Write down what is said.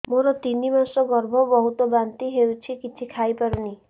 ମୋର ତିନି ମାସ ଗର୍ଭ ବହୁତ ବାନ୍ତି ହେଉଛି କିଛି ଖାଇ ପାରୁନି